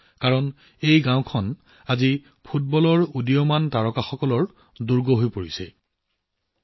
mini Brazil কাৰণ আজি এই গাঁওখন ফুটবলৰ উদীয়মান তাৰকাসকলৰ দুৰ্গ হৈ পৰিছে